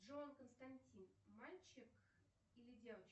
джой константин мальчик или девочка